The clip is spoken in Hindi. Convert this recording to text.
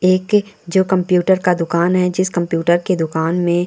एक ये जो कंप्युटर का दुकान है जिस कंप्युटर की दुकान में --